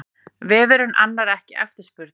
Vefurinn annar ekki eftirspurn